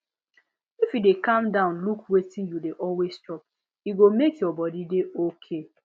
if you dey calm down look wetin you dey always chop e go make your body dey okay